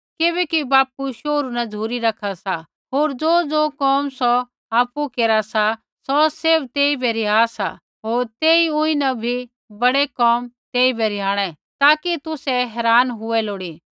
किबैकि बापू शोहरू न झ़ुरी रखा सा होर ज़ोज़ो कोम सौ आपु केरा सा सौ सैभ तेइबै रिहा सा होर तेई ऊँई न भी बडे कोम तेइबै रिहाणै ताकि तुसै हैरान हुऐ लोड़ी